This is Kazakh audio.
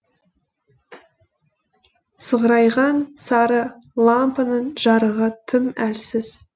сығырайған сары лампаның жарығы тым әлсіз